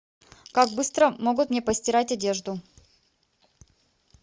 как быстро могут мне постирать одежду